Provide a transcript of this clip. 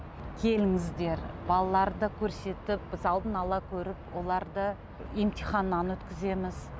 келіңіздер балаларды көрсетіп біз алдын ала көріп оларды емтиханнан өткіземіз